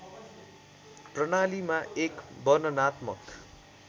प्रणालीमा एक वर्णनात्मक